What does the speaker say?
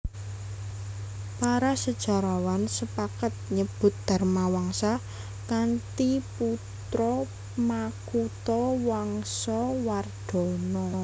Para sejarawan sepakat nyebut Dharmawangsa kanthi putra Makuthawangsawardhana